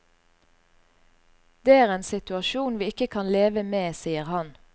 Det er en situasjon vi ikke kan leve med, sier han.